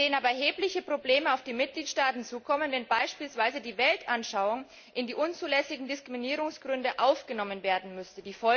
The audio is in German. Wir sehen aber erhebliche Probleme auf die Mitgliedstaaten zukommen, wenn beispielsweise die Weltanschauung in die unzulässigen Diskriminierungsgründe aufgenommen werden müsste.